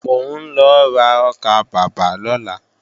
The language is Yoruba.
Mò ń lọ ra ọkàbàbà lọ́la